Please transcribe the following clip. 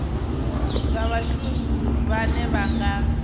zwa vhashumi vhane vha nga